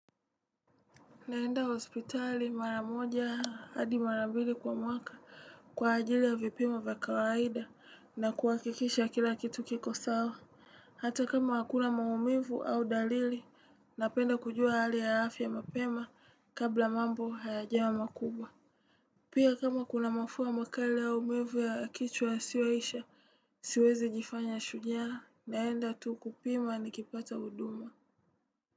Naenda hospitali maramoja hadi mara mbili kwa mwaka, kwa ajili ya vipimo vya kawaida na kuhakikisha kila kitu kiko sawa. Hata kama hakuna maumivu au dalili, napenda kujua hali ya afya ya mapema kabla mambo hayajawa makubwa. Pia kama kuna mafua makali au maumivu ya kichwa sasiyo isha, siwezi jifanya shujaa, naenda tu kupima nikipata huduma.